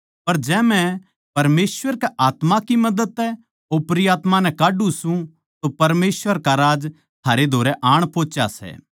पर जै मै परमेसवर के आत्मा की मदद तै ओपरी आत्मायाँ नै काढ्ढू सूं तो परमेसवर का राज्य थारै धोरै आण पोहुच्या सै